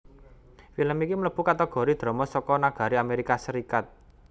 Film iki mlèbu kategori drama saka nagari Amerika Serikat